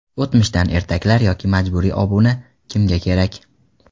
O‘tmishdan ertaklar yoki majburiy obuna kimga kerak?.